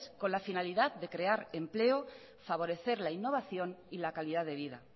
con la finalidad de crear empleo favorecer la innovación y la calidad de vida